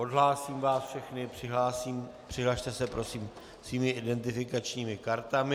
Odhlásím vás všechny, přihlaste se prosím svými identifikačními kartami.